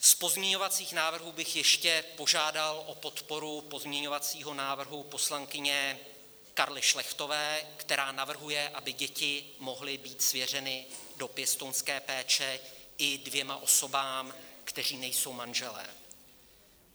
Z pozměňovacích návrhů bych ještě požádal o podporu pozměňovacího návrhu poslankyně Karly Šlechtové, která navrhuje, aby děti mohly být svěřeny do pěstounské péče i dvěma osobám, které nejsou manžely.